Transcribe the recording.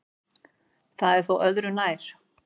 Það er þó öðru nær.